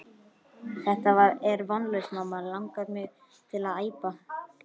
Þetta er vonlaust mamma langar mig til að æpa.